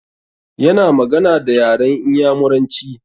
Ya na magana da yaran Inyamuranci